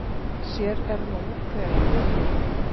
Sér er nú hver vinurinn!